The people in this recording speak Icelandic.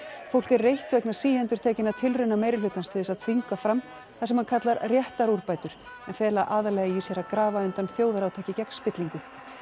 fólk er reitt vegna síendurtekinna tilrauna meirihlutans til þess að þvinga fram það sem hann kallar en fela aðallega í sér að grafa undan þjóðarátaki gegn spillingu